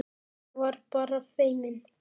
Ég var bara feimin!